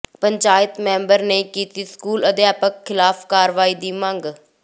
panchayat member ਨੇ ਕੀਤੀ school ਅਧਿਆਪਕ ਖ਼ਿਲਾਫ਼ ਕਾਰਵਾਈ ਦੀ ਮੰਗ